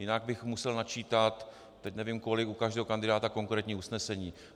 Jinak bych musel načítat, teď nevím kolik, u každého kandidáta konkrétní usnesení.